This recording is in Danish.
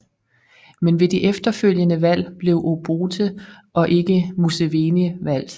Men ved de efterfølgende valg blev Obote og ikke Museveni valgt